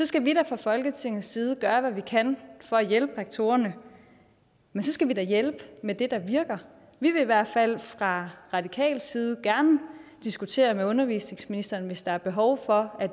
skal vi da fra folketingets side gøre hvad vi kan for at hjælpe rektorerne men så skal vi da hjælpe med det der virker vi vil i hvert fald fra radikal side gerne diskutere det med undervisningsministeren hvis der er behov for at